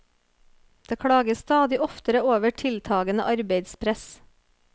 Det klages stadig oftere over tiltagende arbeidspress.